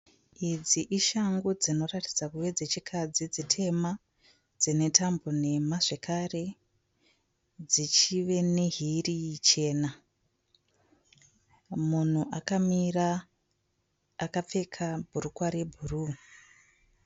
Idzi ishangu dzinoratidza kuve dzechikadzi dzitema dzine tambo nhema zvekare dzichive nehiri chena munhu akamira akapfeka bhurukwa rebhuruu.